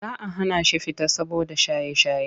Za a hana shi fita saboda shaye-shaye take yi.